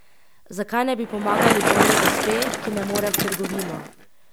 Zakaj ne bi pomagali bolni gospe, ki ne more v trgovino?